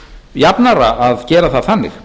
jafnara að gera það þannig